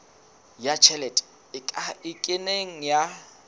ya tjhelete e kenang ya